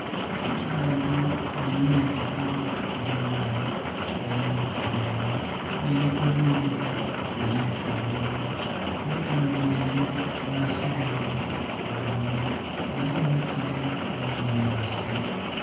Italagi nga ilinizikala zingali nga yimikile'wo nga iliko zinziga izifumbamo nga italagi yene yasililile idani nga yemikile mu bunyasi.